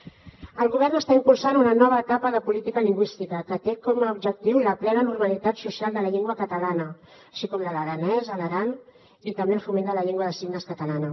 el govern està impulsant una nova etapa de política lingüística que té com a objectiu la plena normalitat social de la llengua catalana així com de l’aranès a l’aran i també el foment de la llengua de signes catalana